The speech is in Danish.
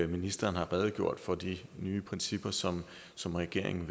ministeren har redegjort for de nye principper som som regeringen